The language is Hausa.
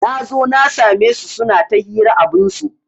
Nazo na sa me su suna ta hira abinsu